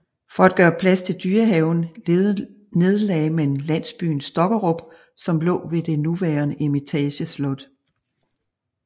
For at gøre plads til dyrehaven nedlagde man landsbyen Stokkerup som lå ved det nuværende Eremitageslot